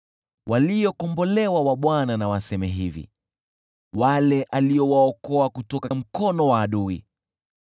Waliokombolewa wa Bwana na waseme hivi, wale aliowaokoa kutoka mkono wa adui,